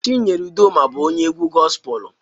chinyere Udoma bu onye egwu gospelu